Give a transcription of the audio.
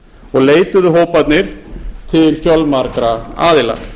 og leituðu hóparnir til fjölmargra aðila